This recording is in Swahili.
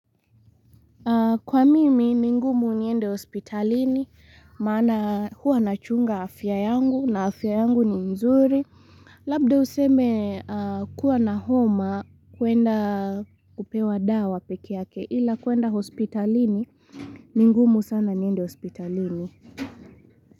Kwa mimi, ni ngumu niende hospitalini, maana huwa nachunga afya yangu na afya yangu ni nzuri. Labda useme kuwa na homa kuenda kupewa dawa peke yake ila kwenda hospitalini, ni ngumu sana niende hospitalini.